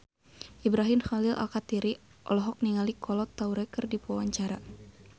Ibrahim Khalil Alkatiri olohok ningali Kolo Taure keur diwawancara